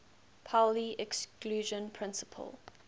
pauli exclusion principle